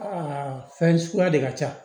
Aa fɛn suguya de ka ca